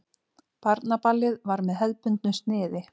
Barnaballið var með hefðbundnu sniði.